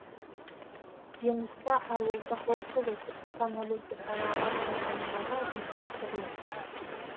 жемісті ауылдық округі түркістан облысы сарыағаш ауданындағы әкімшілік бірлік